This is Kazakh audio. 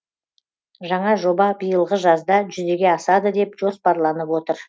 жаңа жоба биылғы жазда жүзеге асады деп жоспарланып отыр